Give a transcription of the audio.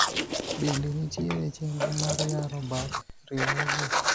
bende nitiere chenro mar yaro bad riwruogno?